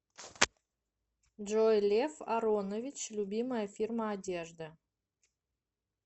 джой лев аронович любимая фирма одежды